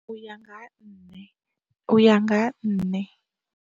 U ya nga ha nṋe, uya nga ha nṋe.